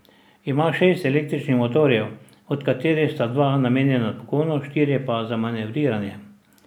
Ima šest električnih motorjev, od katerih sta dva namenjena pogonu, štirje pa za manevriranje.